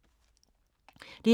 DR2